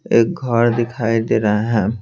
एक घर दिखाई दे रहा है।